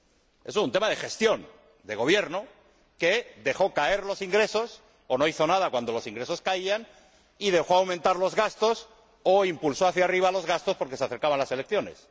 Eso es un tema de gestión, de gobierno, que dejó caer los ingresos o no hizo nada cuando los ingresos caían y dejó aumentar los gastos o impulsó hacia arriba los gastos porque se acercaban las elecciones.